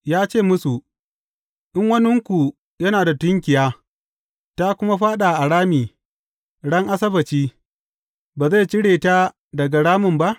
Ya ce musu, In waninku yana da tunkiya, ta kuma fāɗa a rami ran Asabbaci, ba zai cire ta daga ramin ba?